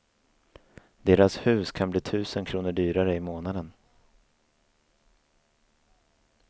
Deras hus kan bli tusen kronor dyrare i månaden.